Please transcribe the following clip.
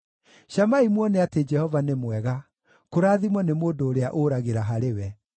Camai muone atĩ Jehova nĩ mwega; kũrathimwo nĩ mũndũ ũrĩa ũragĩra harĩ we.